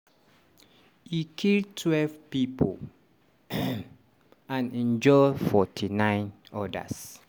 e kill twelve pipo and injure 49 odas.